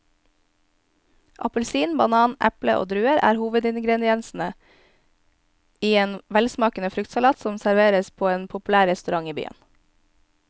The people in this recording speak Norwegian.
Appelsin, banan, eple og druer er hovedingredienser i en velsmakende fruktsalat som serveres på en populær restaurant i byen.